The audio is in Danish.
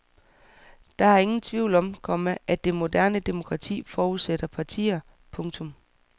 Der er ingen tvivl om, komma at det moderne demokrati forudsætter partier. punktum